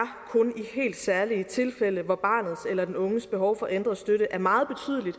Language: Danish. i helt særlige tilfælde hvor barnets eller den unges behov for ændret støtte er meget